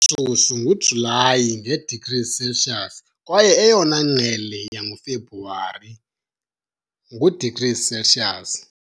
Shushu nguJulayi, nge-degrees Celsius, kwaye eyona ngqele yangoFebruwari, ngu-degrees Celsius